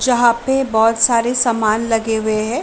जहाँ पे बहोत सारे समान लगे हुए हैं।